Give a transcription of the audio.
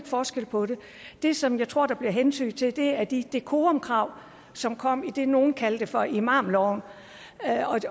forskel på det det som jeg tror der bliver hentydet til er de dekorumkrav som kom i det nogle kaldte for imamloven